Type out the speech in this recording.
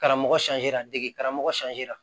Karamɔgɔ dege karamɔgɔ la